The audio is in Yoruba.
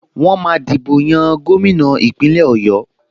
Wọ́n máa dìbò yan gómìnà Ìpínlẹ̀ Ọ̀yọ́